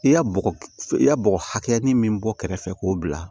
I ya bɔgɔ i ya bɔgɔ hakɛya min bɔ kɛrɛfɛ k'o bila